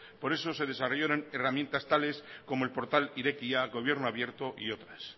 por eso se desarrollaron herramientas tales como el portal irekia gobierno abierto y otras